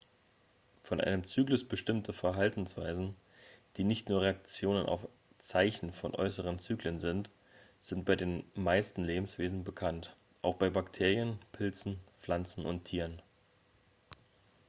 von einem zyklus bestimmte verhaltensweisen die nicht nur reaktionen auf zeichen von äußeren zyklen sind sind bei den meisten lebewesen bekannt auch bei bakterien pilzen pflanzen und tieren